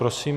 Prosím.